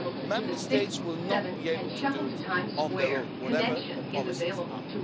Member States will not be able to do it on their own, whatever their policies are.